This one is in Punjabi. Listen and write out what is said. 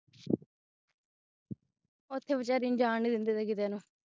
ਉੱਥੇ ਬਚਾਰੀ ਨੂੰ ਜਾਂਨ ਨਹੀਂ ਦਿੰਦੇ ਕਿੱਥੇ ਨੂੰ